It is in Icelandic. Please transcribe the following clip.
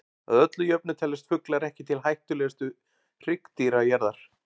Að öllu jöfnu teljast fuglar ekki til hættulegustu hryggdýra jarðar.